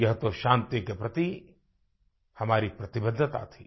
यह तो शांति के प्रति हमारी प्रतिबद्धता थी